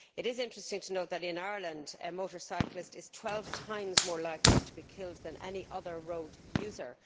It is interesting to note that, in Ireland, a motorcyclist is 12 times more likely to be killed than any other road user.